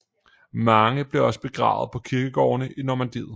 Mange blev også begravet på kirkegårdene i Normandiet